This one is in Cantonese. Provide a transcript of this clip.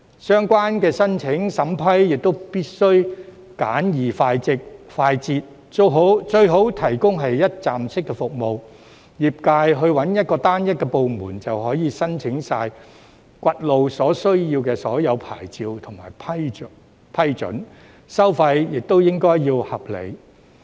相關申請審批亦必須簡易快捷，最好是提供一站式服務，業界尋找單一部門，便可申請掘路所需的所有牌照和批准，收費亦要合理。